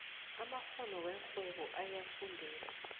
amakgono werhwebo ayafundelwa